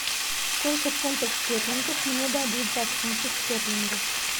сколько фунтов стерлингов мне дадут за фунты стерлинга